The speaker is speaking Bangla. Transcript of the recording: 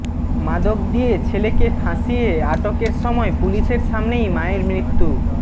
মাদক দিয়ে ছেলেকে ফাঁসিয়ে আটকের সময় পুলিশের সামনেই মায়ের মৃত্যু